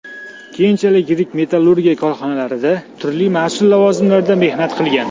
Keyinchalik yirik metallurgiya korxonalarida turli mas’ul lavozimlarda mehnat qilgan.